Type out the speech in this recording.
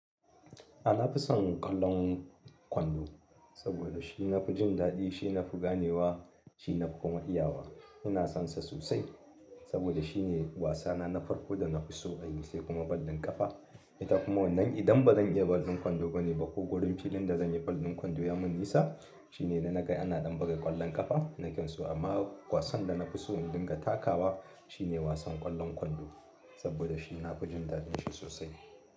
A na fi son ƙwallon kwando, saboda shi na fi jin daɗi, shi na fi ganewa, shi na fi kuma iyawa. Ina son sa sosai, saboda shi ne wasana na farko da na fi so na yi sai kuma kwallon kafa. Ita kuma wannan idan ba zan iya ball ɗin kwando ba ne ba ko wurin filin da zan yi ball ɗin kwando ya mun nisa, shi ne idan na ga ana ɗan buga ƙwallon ƙafa na kan so. Amma wasan da na fi so in dinga takawa shi ne wasan ƙwallon kwando saboda shi na fi jin daɗin shi sosai.